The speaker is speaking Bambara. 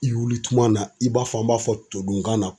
I wuli tuma na, i b'a fɔ an b'a fɔ todunkan na